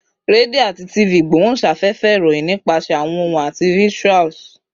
Radio ati TV igbohunsafefe iroyin nipasẹ awọn ohun ati visuals